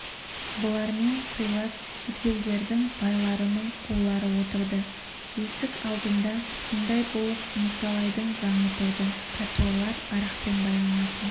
бұлармен сыйлас шетелдердің байларының қулары отырды есік алдында сымдай болып николайдың заңы тұрды пәтуалар арақпен байланатын